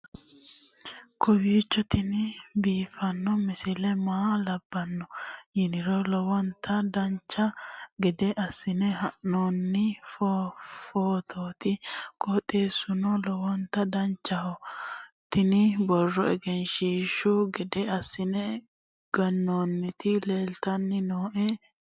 kowiicho tini biiffanno misile maa labbanno yiniro lowonta dancha gede assine haa'noonni foototi qoxeessuno lowonta danachaho. tini borro egenshshiishu gede assine gannoonniti leeltanni nooe anera